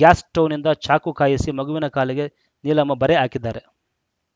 gas ಸ್ಟೌವ್‌ನಿಂದ ಚಾಕು ಕಾಯಿಸಿ ಮಗುವಿನ ಕಾಲಿಗೆ ನೀಲಮ್ಮ ಬರೆ ಹಾಕಿದ್ದಾರೆ